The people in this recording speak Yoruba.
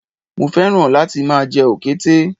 Mo fẹ́ràn láti máa jẹ òkété